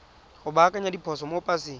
go baakanya diphoso mo paseng